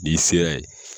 N'i sera ye